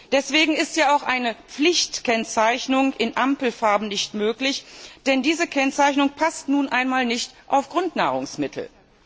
Deswegen ist ja auch eine Pflichtkennzeichnung in Ampelfarben nicht möglich, denn diese Kennzeichnung passt nun einmal nicht auf Grundnahrungsmittel.